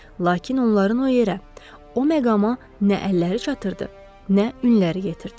Lakin onların o yerə, o məqama nə əlləri çatırdı, nə ünlləri yetirdi.